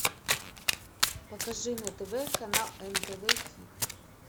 покажи на тв канал нтв хит